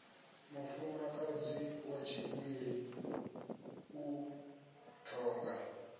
mufumakadzi wa tshigwili u tonga